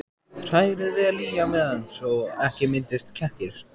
Hrærið vel í á meðan svo ekki myndist kekkir.